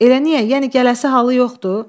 Elə niyə, yəni gələsi halı yoxdur?